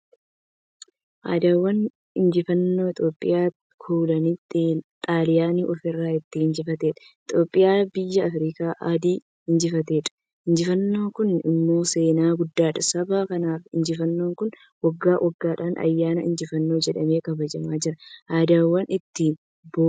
Adawaan injifannoo Itiyoophiyaan kolonii Xaaliyanii ofirraa itti injifatteedha. Itiyoophiyaan biyya afrikaa Adii injifatteedha. Injifannoon kun immoo seenaa guddaadhan. Saba kanaan injifannoon kun waggaa waggaadhan ayyaana injifannoo jedhamee kabajamaa jira. Adawaa ittiin boonna.